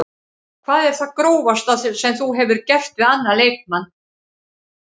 Hvað er það grófasta sem þú hefur gert við annan leikmann?